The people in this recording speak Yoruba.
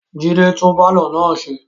Jide tún pàlọ́ náà ṣe